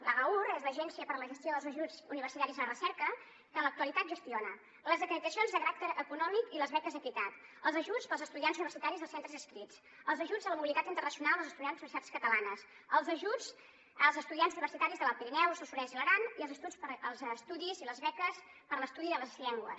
l’agaur és l’agència de gestió d’ajuts universitaris i de recerca que en l’actualitat gestiona les acreditacions de caràcter econòmic i les beques equitat els ajuts per als estudiants universitaris dels centres adscrits els ajuts a la mobili·tat internacional dels estudiants de les universitats catalanes els ajuts als estudiants universitaris de l’alt pirineu el solsonès i l’aran i els estudis i les beques per a l’es·tudi de les llengües